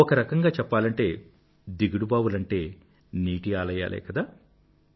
ఒకరకంగా చెప్పాలంటే దిగుడుబావులంటే నీటి ఆలయాలే కదా